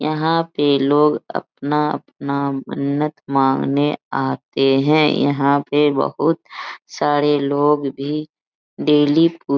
यहाँ पे लोग अपना-अपना मन्नत मांगने आते है यहाँ पे बहुत सारे लोग भी डेली पू --